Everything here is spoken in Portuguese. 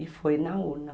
E foi na urna.